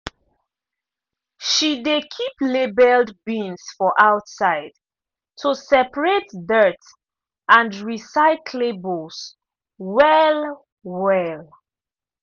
she dey keep labeled bins for outside to separate dirt and recyclables well-well.